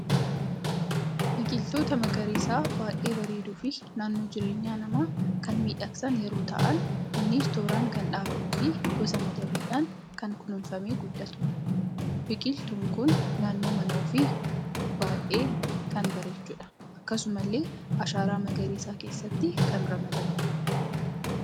Biqiloota magariisa baay'ee bareedu fi naannoo jireenya nama kan miidhagsan yeroo ta'aan, innis tooraan kan dhaabamuu fi gosa madabbidhan kan kunuunfame guddatudha. Biqiltuun kun Naannoo mana ofii baay'ee kan bareechudha. Akkasumallee Ashaara magariisa keesaatti kan ramadamuudha.